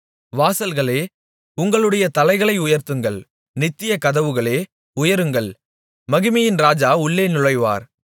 வாசல்களே உங்களுடைய தலைகளை உயர்த்துங்கள் நித்திய கதவுகளே உயருங்கள் மகிமையின் இராஜா உள்ளே நுழைவார்